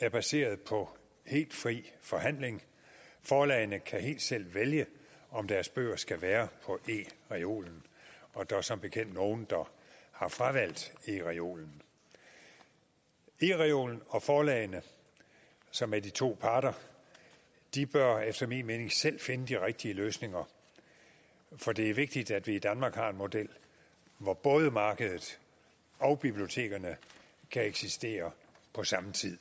er baseret på helt fri forhandling forlagene kan helt selv vælge om deres bøger skal være på ereolen og der er som bekendt nogle der har fravalgt ereolen ereolen og forlagene som er de to parter bør efter min mening selv finde de rigtige løsninger for det er vigtigt at vi i danmark har en model hvor både markedet og bibliotekerne kan eksistere på samme tid